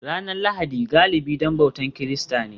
Ranar Lahadi galibi don bautar Kirista ne